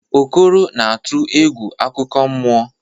Okoro na-atụ egwu akụkọ mmụọ.